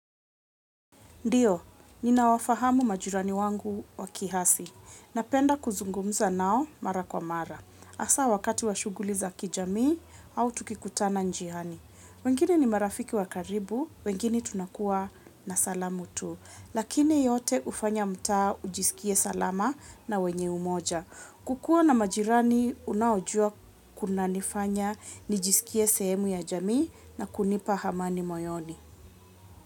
Ndiyo, ninawafahamu majirani wangu wa kiasi. Napenda kuzungumza nao mara kwa mara. Hasa wakati wa shughuli za kijamii au tukikutana njiani. Wengine ni marafiki wa karibu, wengine tunakuwa na salamu tu. Lakini yote hufanya mta ujisikie salama na wenye umoja. Kukua na majirani, unaojua kunanifanya nijisikie sehemu ya jamii na kunipa amani moyoni.